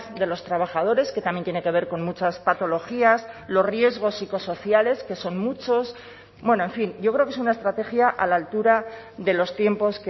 de los trabajadores que también tiene que ver con muchas patologías los riesgos psicosociales que son muchos bueno en fin yo creo que es una estrategia a la altura de los tiempos